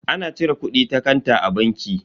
Ana cire kudi ta kanta a banki.